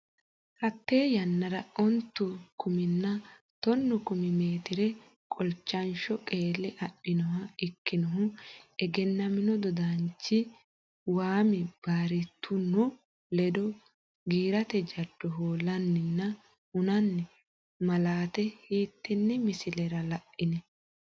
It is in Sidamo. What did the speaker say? Hatte yannara ontu kuminna tonnu kumi meetire qolchansho qeelle adhinoha ikkinohu egennamino dodaanchi Waami Birraatuno ledo, Giirate jaddo hoollanninna hunnanni malaate hiittenne misilera la’in?